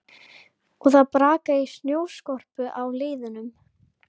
Og það brakaði í snjóskorpu á leiðunum.